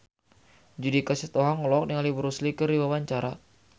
Judika Sitohang olohok ningali Bruce Lee keur diwawancara